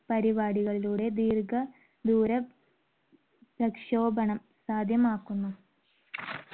പരിപാടികളിലൂടെ ദീർഘദൂര പ്രക്ഷോപണം സാധ്യമാക്കുന്നു.